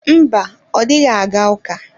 Mba, ọ dịghị aga ụka.